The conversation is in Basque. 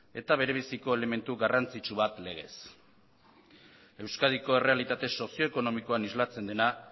eta berebiziko elementu garrantzitsu bat legez euskadiko errealitate sozio ekonomikoan islatzen dena